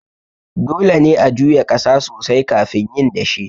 Dole ne a juya ƙasa sosai kafin yin dashe.